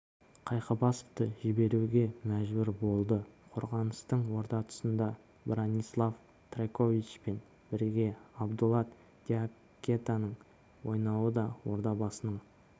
қайқыбасовты жіберуге мәжбүр болды қорғаныстың орта тұсында бранислав трайковичпен бірге абдулай диакатенің ойнауы да ордабасының